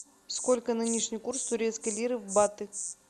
сколько нынешний курс турецкой лиры в баты